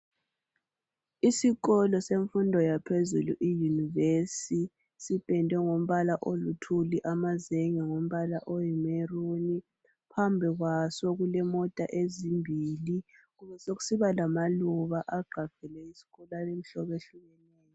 Isikolo semfundo yaphezulu iyunivesi, sipendwe ngombala oluthuli, amazenge ngombala oyi "maroon", phambi kwaso kulemota ezimbili kube sekusiba lamaluba agqagqele iskolo alemihlobo ehlukeneyo.